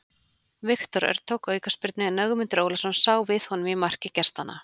Viktor Örn tók aukaspyrnuna en Ögmundur Ólafsson sá við honum í marki gestanna.